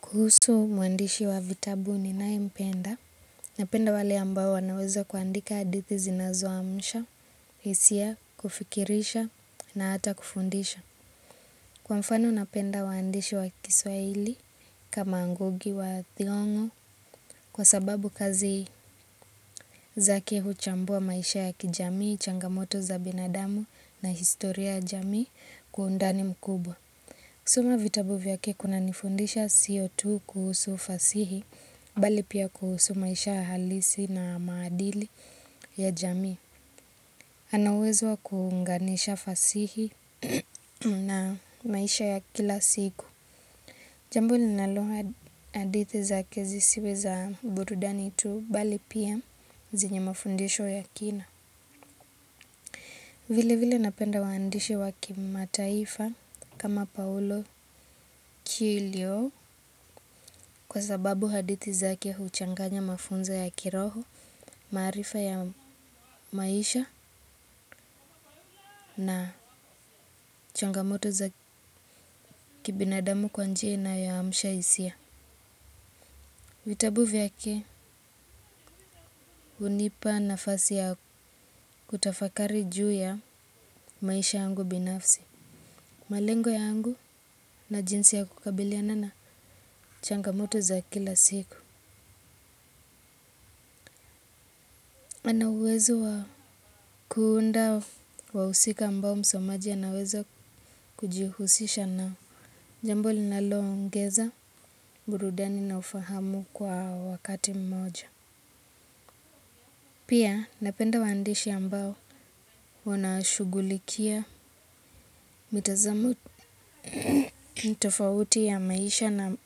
Kuhusu muandishi wa vitabu ninayempenda napenda wale ambao wanaweza kuandika adithi zinazoamsha hisia, kufikirisha na hata kufundisha. Kwa mfano napenda waandishi wa kiswaili kama Ngugi wa Thiong'o kwa sababu kazi zake huchambua maisha ya kijamii, changamoto za binadamu na historia ya jamia kwa undani mkubwa. Kusoma vitabu vyake kuna nifundisha siyo tu kuhusu fasihi, bali pia kuhusu maisha halisi na maadili ya jami. Anauwezo wa kuunganisha fasihi na maisha ya kila siku. Jambo linalo hadithi zake zi siwe za burudani tu, bali pia zinye mafundisho ya kina. Vile vile napenda waandishi waki mataifa kama paulo kilio kwa sababu hadithi zake huchanganya mafunzo ya kiroho, maarifa ya maisha na changamoto za kibinadamu kwa njia inayoamsha hisia. Vitabu vyake hunipa nafasi ya kutafakari juu ya maisha angu binafsi. Malengo yangu na jinsi ya kukabiliana na changamoto za kila siku. Anauwezo wa kuunda wahusika ambao msomaji anaweza kujihusisha nao jambo linaloongeza burudani na ufahamu kwa wakati mmoja. Pia napenda waandishi ambao wanashugulikia mitazamo tofauti ya maisha na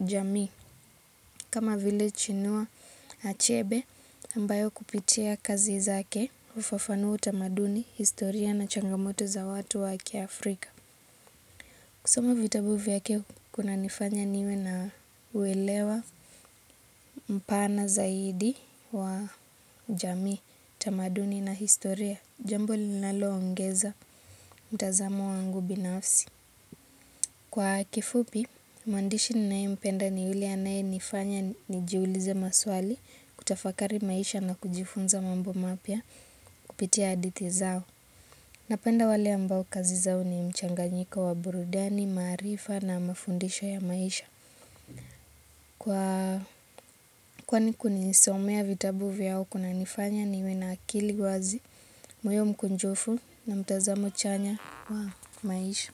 jamii kama vile chinua achebe ambayo kupitia kazi zake hufafanua utamaduni, historia na changamoto za watu waki Afrika. Kusoma vitabu vyake kuna nifanya niwe na uelewa mpana zaidi wa jamii, utamaduni na historia, jambo linalo ongeza mtazamo wangu binafsi. Kwa kifupi, mwandishi ninayempenda ni yule anaye nifanya ni jiulize maswali, kutafakari maisha na kujifunza mambo mapya kupitia adithi zao. Napenda wale ambao kazi zao ni mchanganyiko wa burudani, maarifa na mafundisho ya maisha. Kwani kunisomea vitabu vyao kuna nifanya niwe na akili wazi, moyo mkunjufu na mtazamo chanya wa maisha.